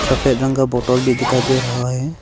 सफेद रंग का बॉटल भी दिखाई दे रहा है।